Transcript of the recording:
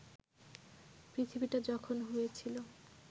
পৃথিবীটা যখন হয়েছিল